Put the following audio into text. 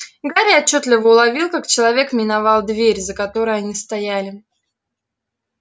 гарри отчётливо уловил как человек миновал дверь за которой они стояли